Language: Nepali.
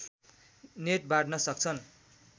नेट बाँड्न सक्छन्